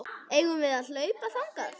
Eigum við að hlaupa þangað?